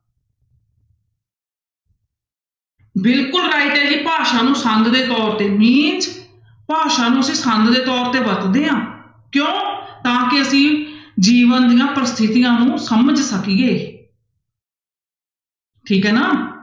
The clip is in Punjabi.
ਬਿਲਕੁਲ right ਹੈ ਜੀ ਭਾਸ਼ਾ ਨੂੰ ਸੰਦ ਦੇ ਤੌਰ mean ਭਾਸ਼ਾ ਨੂੰ ਅਸੀਂ ਸੰਦ ਦੇ ਤੌਰ ਤੇ ਵਰਤਦੇ ਹਾਂ ਕਿਉਂ ਤਾਂ ਕਿ ਅਸੀਂ ਜੀਵਨ ਦੀਆਂ ਪ੍ਰਸਥਿਤੀਆਂ ਨੂੰ ਸਮਝ ਸਕੀਏ ਠੀਕ ਹੈ ਨਾ।